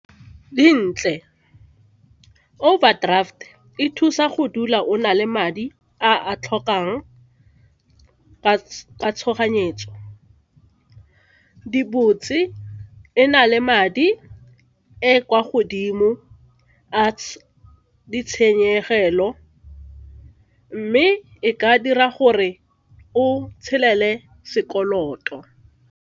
Di ntle, overdraft e thusa go dula ona le madi a a tlhokang ka tshoganyetso, di botse e na le madi e kwa godimo a ditshenyegelo mme e ka dira gore o tshele le sekoloto.